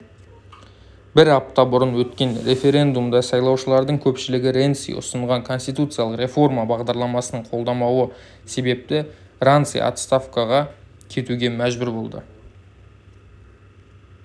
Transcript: бір апта бұрын өткен референдумда сайлаушылардың көпшілігі ренци ұсынған конституциялық реформа бағдарламасын қолдамауы себепті ранци отстаувкаға кетуге мәжбүр болды